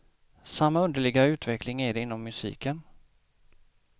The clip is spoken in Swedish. Samma underliga utveckling är det inom musiken.